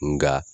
Nga